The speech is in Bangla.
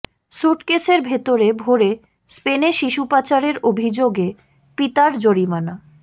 সুটকেসের ভেতরে ভরে স্পেনে শিশু পাচারের অভিযোগে পিতার জরিমানা